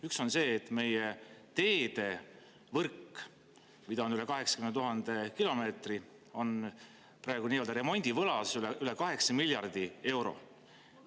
Üks on see, et meie teedevõrk, mida on üle 80 000 kilomeetri, on praegu nii-öelda remondivõlas, üle kaheksa miljardi euro.